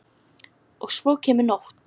Og svo kemur nótt.